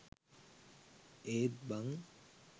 ඒත් බන්